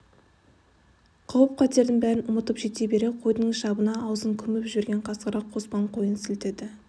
қауіп-қатердің бәрін ұмытып жете бере қойдың шабына аузын көміп жіберген қасқырға қоспан сойыл сілтеді